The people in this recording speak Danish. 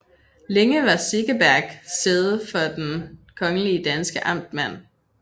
Længe var Segeberg sæde for den kongelige danske amtmand